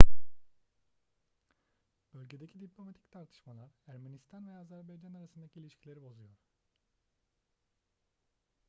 bölgedeki diplomatik tartışmalar ermenistan ve azerbaycan arasındaki ilişkileri bozuyor